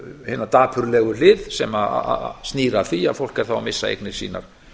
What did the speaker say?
hina dapurlegu hlið sem snýr að því að fólk er að missa eignir sínar